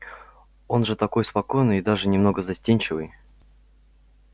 он же такой спокойный и даже немного застенчивый